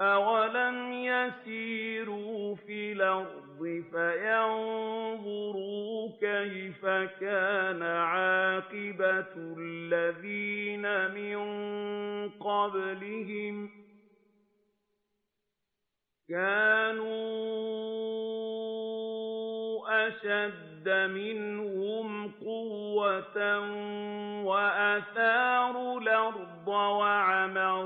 أَوَلَمْ يَسِيرُوا فِي الْأَرْضِ فَيَنظُرُوا كَيْفَ كَانَ عَاقِبَةُ الَّذِينَ مِن قَبْلِهِمْ ۚ كَانُوا أَشَدَّ مِنْهُمْ قُوَّةً وَأَثَارُوا الْأَرْضَ وَعَمَرُوهَا